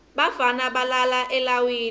bafana balala elawini